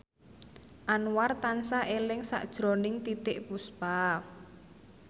Anwar tansah eling sakjroning Titiek Puspa